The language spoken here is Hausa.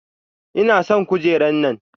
Ina son kujera nan.